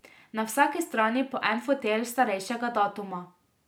Na vsaki strani po en fotelj starejšega datuma.